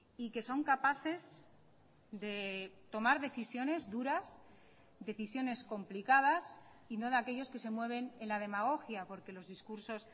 y que son capaces de tomar decisiones duras decisiones complicadas y no de aquellos que se mueven en la demagogia porque los discursos